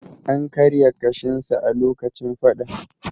An karya ƙashinsa a lokacin fadan.